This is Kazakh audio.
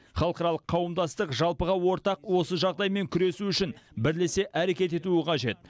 халықаралық қауымдастық жалпыға ортақ осы жағдаймен күресу үшін бірлесе әрекет етуі қажет